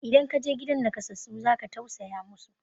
idan ka je gidan nakasassu za ka tausaya musu